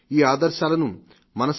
ఈ ఆదర్శాలను మనసా